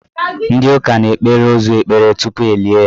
Ndị ụka na-ekpere ozu ekpere tupu elie ya.